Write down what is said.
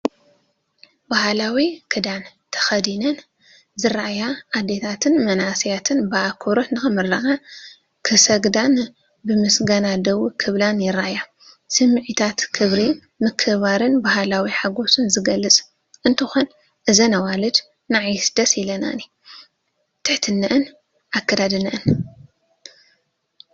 ባህላዊ ክዳን ተኸዲነን ዝረኣያ ኣዴታትን መንእሰያትን ብኣኽብሮት ንኽምረቓ ክሰግዳን ብምስጋና ደው ክብላን ይረኣያ። ስምዒታት፡ ክብሪ፡ ምክብባርን ባህላዊ ሓጎስን ዝገልፅ እንትኾን እዘን ኣዋልድ ንዓይስ ደስ ኢለናኒ ትሐትነአንን ኣከዳድነአንን።